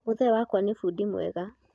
mũthee wakwa nĩ fundi mwega